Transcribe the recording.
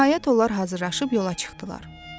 Nəhayət, onlar hazırlaşıb yola çıxdılar.